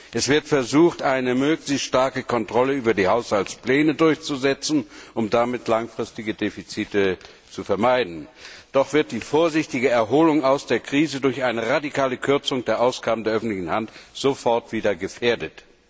Es wird versucht, eine möglichst starke Kontrolle über die Haushaltspläne durchzusetzen, um damit langfristige Defizite zu vermeiden, doch wird die vorsichtige Erholung aus der Krise durch eine radikale Kürzung der Ausgaben der öffentlichen Hand sofort wieder gefährdet.